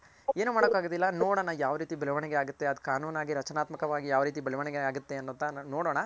ಏನು ಮಾಡೋಕಾಗೋದಿಲ್ಲ ನೋಡೋಣ ಯಾವ್ ರೀತಿ ಬೆಳವಣಿಗೆ ಆಗುತ್ತೆ ಅದ್ ಕಾನೂನಾಗ್ ರಚನಾತ್ಮಕ ವಾಗ್ ಯಾವ್ ರೀತಿ ಬೆಳವಣಿಗೆ ಆಗುತ್ತೆ ಅಂತ ನೋಡೋಣ.